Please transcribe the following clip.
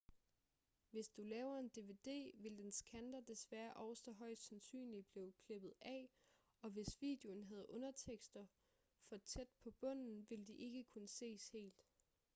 hvis du laver en dvd vil dens kanter desværre også højst sandsynligt blive klippet af og hvis videoen havde undertekster for tæt på bunden ville de ikke kunne ses helt